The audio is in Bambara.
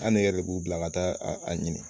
An ne yɛrɛ de b'u bila ka taa a ɲini